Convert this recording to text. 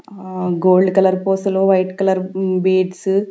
ఆ gold colour పూసలు white colour beads .